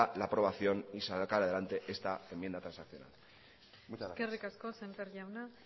la aprobación y sacar adelante esta enmienda transaccional muchas gracias eskerrik asko semper jauna